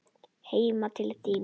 Heim til þín?